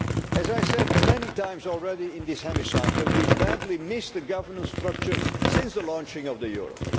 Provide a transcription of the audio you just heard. As I have said many times already in this hemicycle, we have badly missed a governance structure since the launching of the euro.